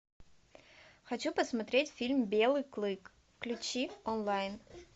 хочу посмотреть фильм белый клык включи онлайн